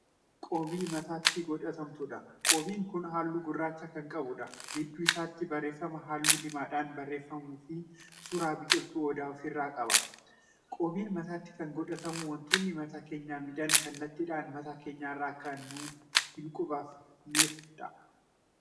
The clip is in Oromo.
Qoobii mataatti godhatamuudha. qoobiin Kun halluu gurraacha Kan qabuudha. gidduu isaatti barreeffaman halluu diimadhaan barreeffamuufi suuraa biqiltuu odaa ofirraa qaba. qoobiin mataatti Kan godhatamu wantoonni mataa keenya miidhan kallattiidhaan mataa keenyarra Akka nu hin qubanneefidha.